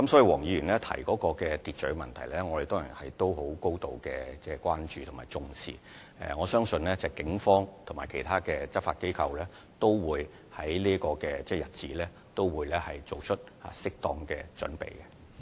黃議員提到秩序的問題，我們當然高度關注及重視，我相信警方及其他執法機關均會為這個日子作出適當的準備。